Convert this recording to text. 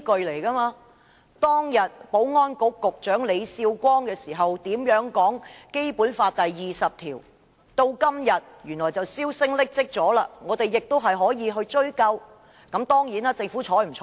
例如當年前保安局局長李少光如何解讀《基本法》第二十條，至今大家已經沒有印象，但我們仍可翻查紀錄追究。